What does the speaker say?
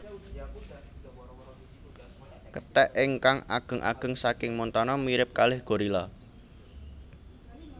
Kethek ingkang ageng ageng saking Montana mirip kalih gorila